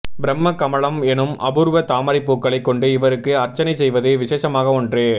பிரம்ம கமலம் எனும் அபூர்வ தாமரைப் பூக்களைக் கொண்டு இவருக்கு அர்ச்சனை செய்வது விசேஷமான ஒன்று